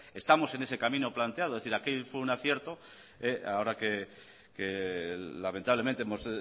estamos en ese camino planteado es decir aquel fue un acierto ahora que lamentablemente hemos